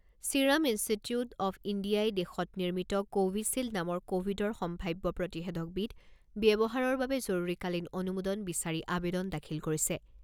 Serum Institute of ইণ্ডিয়াই দেশত নিৰ্মিত কোৱিশ্বিল্ড নামৰ ক'ভিডৰ সম্ভাৱ্য প্ৰতিষেধকবিধ ব্যৱহাৰৰ বাবে জৰুৰীকালীন অনুমোদন বিচাৰি আবেদন দাখিল কৰিছে।